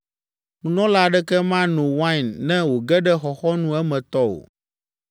Nunɔla aɖeke mano wain ne wòge ɖe xɔxɔnu emetɔ o.